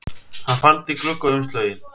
Hann faldi gluggaumslögin